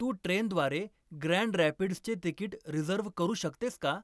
तू ट्रेनद्वारे ग्रँड रॅपिड्सचे तिकीट रिझर्व्ह करू शकतेस का